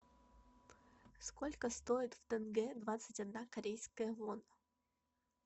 сколько стоит в тенге двадцать одна корейская вона